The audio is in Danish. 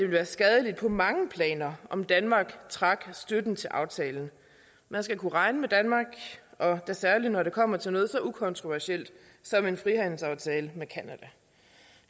være skadeligt på mange planer om danmark trak støtten til aftalen man skal kunne regne med danmark og da særlig når det kommer til noget så ukontroversielt som en frihandelsaftale med canada